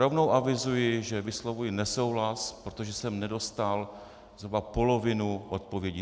Rovnou avizuji, že vyslovuji nesouhlas, protože jsem nedostal zhruba polovinu odpovědí.